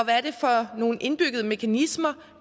nogle indbyggede mekanismer